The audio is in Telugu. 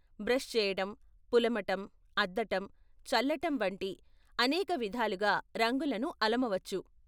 బ్రష్ చేయటం, పులమటం, అద్దటం, చల్లటం వంటి అనేక విధాలుగా రంగులను అలమవచ్చు.